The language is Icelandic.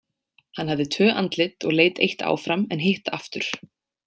Hann hafði tvö andlit og leit eitt áfram en hitt aftur.